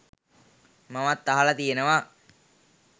මමත් අහල තියෙනවා.